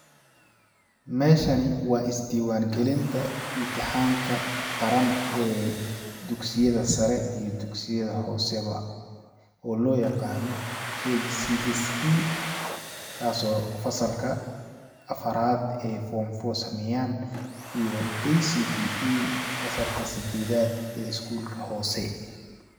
Meeshani waa is diiwaan galinta imtixaanka qaran ee dugsiyada sare iyo dugsiyada hoose ba oo loo yaqaano ee kcse kasoo fasalka afaraad ee form four sameyaan iyo kcpe fasalka sadeedaad ee iskuulka hoose.